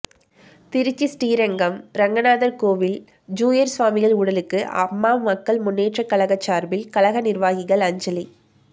திருச்சி ஸ்ரீரங்கம் ரெங்கநாதர் கோவில் ஜீயர் சுவாமிகள் உடலுக்கு அம்மா மக்கள் முன்னேற்றக் கழகம் சார்பில் கழக நிர்வாகிகள் அஞ்சலி